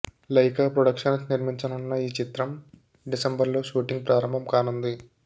Lyca productions నిర్మించనున్న ఈ చిత్రం డిసెంబర్లో షూటింగ్ ప్రారంభం కానుంది